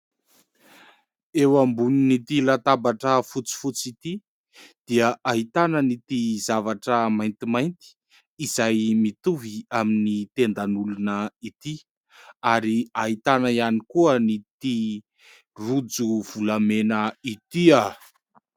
Eo ambonin'ity latabatra fotsifotsy ity dia ahitana ity zavatra maintimainty izay mitovy amin'ny tendan'olona ity ary ahitana ihany koa ity rojo volamena ity.